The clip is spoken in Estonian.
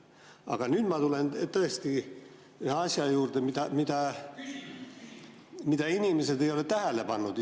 Aga nüüd ma tulen tõesti ühe asja juurde, mida inimesed ei ole isegi tähele pannud.